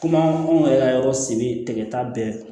Kuma anw yɛrɛ ka yɔrɔ si bɛ tigɛta bɛɛ